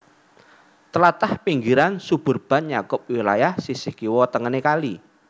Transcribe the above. Tlatah pinggiran suburban nyakup wilayah sisih kiwa tengené kali